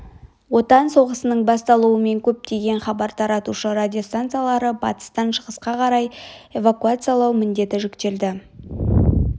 отан соғысының басталуымен көптеген хабар таратушы радиостанцияларды батыстан шығысқа қарай эвакуациялау міндеті жүктелді